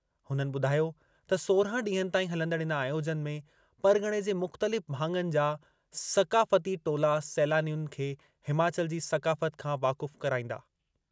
हुननि ॿुधायो त सोरहं ॾींहनि ताईं हलंदड़ इन आयोजन में परग॒णे जे मुख़्तलिफ़ भाङनि जा सक़ाफ़ती टोला सैलानियुनि खे हिमाचल जी सक़ाफ़ति खां वाक़ुफ़ु कराईंदा।